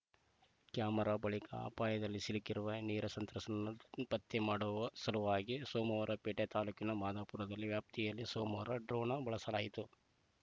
camera ಬಳಿಕ ಅಪಾಯದಲ್ಲಿ ಸಿಲುಕಿರುವ ನೆರೆ ಸಂತ್ರಸ್ತರನ್ನು ಪತ್ತೆ ಮಾಡುವ ಸಲುವಾಗಿ ಸೋಮವಾರಪೇಟೆ ತಾಲೂಕಿನ ಮಾದವಾಪುರದಲ್ಲಿ ವ್ಯಾಪ್ತಿಯಲ್ಲಿ ಸೋಮವಾರ ಡ್ರೋನ್‌ನ ಬಳಸಲಾಯಿತು